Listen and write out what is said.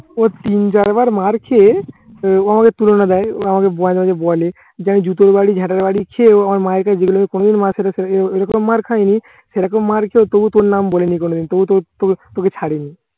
ও তিন চার বার মার খেয়ে ও আমাকে তুলনা দেয়, ও আমাকে মাঝে মাঝে বলে যে আমি জুতোর বাড়ি ঝাটার বাড়ি খেয়েও আমার মায়ের কাছে যেগুলো কোন দিন মার সাথে এরকম মার্ খাইনি সেই রকম মার খেয়ে তবু তোর নাম বলিনি কোনোদিন। তবু তোর তোকে ছাড়িনি।